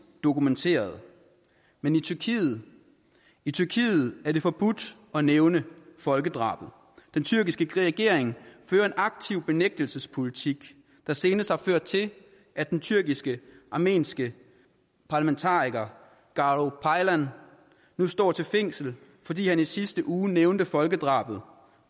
dokumenterede men i tyrkiet i tyrkiet er det forbudt at nævne folkedrabet den tyrkiske regering fører en aktiv benægtelsespolitik der senest har ført til at den tyrkisk armenske parlamentariker garo paylan nu står til fængsel fordi han i sidste uge nævnte folkedrabet